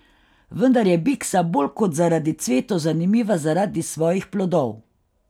Vendar je biksa bolj kot zaradi cvetov zanimiva zaradi svojih plodov.